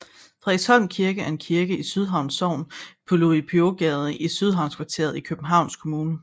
Frederiksholm Kirke er en kirke i Sydhavn Sogn på Louis Pios Gade i Sydhavnskvarteret i Københavns Kommune